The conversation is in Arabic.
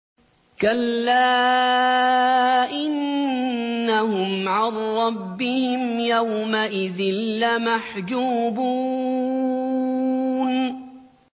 كَلَّا إِنَّهُمْ عَن رَّبِّهِمْ يَوْمَئِذٍ لَّمَحْجُوبُونَ